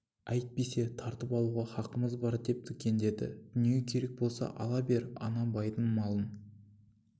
әйтпесе тартып алуға хақымыз бар деп дікектеді дүние керек болса ала бер ана байдың малын